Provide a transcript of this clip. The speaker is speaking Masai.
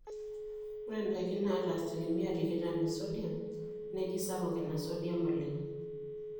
ore ndaiki naata asilimia tikitam esodium neji sapuk ina sodium oleng